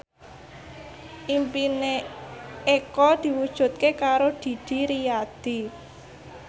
impine Eko diwujudke karo Didi Riyadi